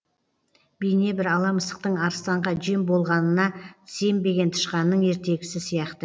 бейнебір ала мысықтың арыстанға жем болғанына сенбеген тышқанның ертегісі сияқты